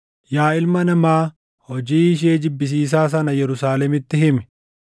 “Yaa ilma namaa, hojii ishee jibbisiisaa sana Yerusaalemitti himi;